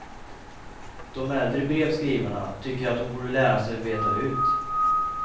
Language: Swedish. De äldre brevskrivarna tycker att hon borde lära sig att veta hut.